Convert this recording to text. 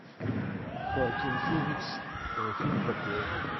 хоакин феникс фильм про клоуна